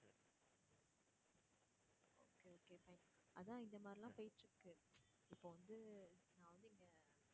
okay okay fine அதான் இந்த மாதிரியெல்லாம் போயிக்கிட்டுருக்கு இப்போ வந்து நான் வந்து இங்க